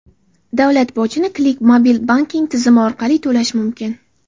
Davlat bojini Click mobil banking tizimi orqali to‘lash mumkin.